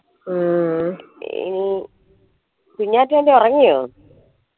ഉം കുഞ്ഞാറ്റയൊക്കെ ഒറങ്ങിയോ